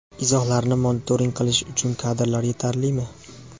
Izohlarni monitoring qilish uchun kadrlar yetarlimi?.